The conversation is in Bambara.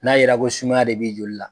N'a yera ko sumaya de b'i joli la.